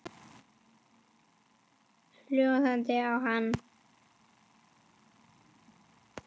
Hjólið í hana.